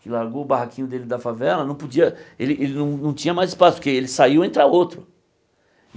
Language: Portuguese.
que largou o barraquinho dele da favela, não podia, ele ele não não tinha mais espaço, porque ele saiu e entra outro.